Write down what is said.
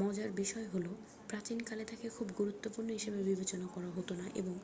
মজার বিষয় হল প্রাচীনকালে তাকে খুব গুরুত্বপূর্ণ হিসাবে বিবেচনা করা হত না এবং